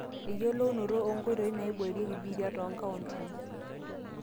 eyiolounoto oonkoitoi naaiboorieki biitia toonkauntini